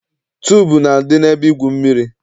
Tuubu na-adị n'ebe igwu mmiri.